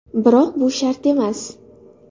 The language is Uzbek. Biroq bu shart emas.